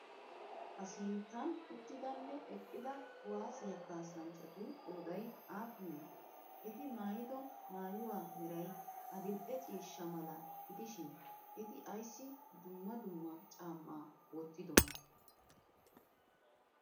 Ha sinttan uttidanne eqqida kuwaasiya kaassanchchatu qooday aappunee? Eti maayido mayuwa meray adil'e ciishsha mala gidishin eti ayissi dumma dumma caammaa wottidonaa?